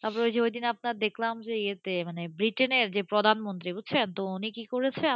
তারপর ওই দিন আপনার দেখলাম যে, বৃটেনের যে প্রধানমন্ত্রী বুঝছেন, উনি কি করেছে